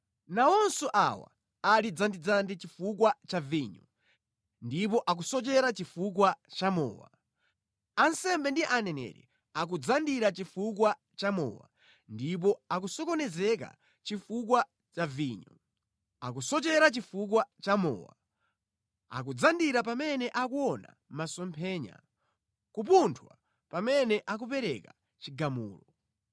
Nawonso awa ali dzandidzandi chifukwa cha vinyo ndipo akusochera chifukwa cha mowa: ansembe ndi aneneri akudzandira chifukwa cha mowa ndipo akusokonezeka chifukwa cha vinyo; akusochera chifukwa cha mowa, akudzandira pamene akuona masomphenya, kupunthwa pamene akupereka chigamulo.